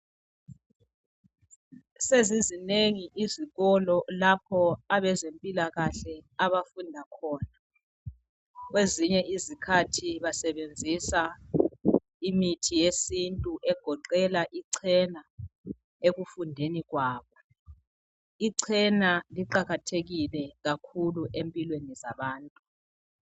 Sezizinengi izikolo lapho abezempilakahle abafunda khona kwezinye izikhathi basebenzisa imithi yesintu egoqela ichena ekufundeni kwabo. Ichena liqakathekile empilweni zabantu.